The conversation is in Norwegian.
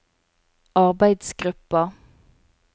arbeidsgruppa